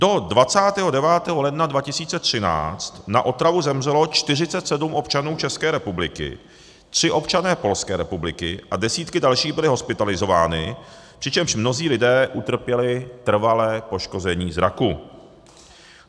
Do 29. ledna 2013 na otravu zemřelo 47 občanů České republiky, tři občané Polské republiky a desítky dalších byly hospitalizovány, přičemž mnozí lidé utrpěli trvalé poškození zraku.